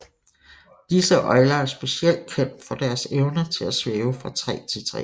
Disse øgler er specielt kendt for deres evne til at svæve fra træ til træ